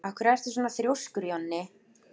Af hverju ertu svona þrjóskur, Jonni?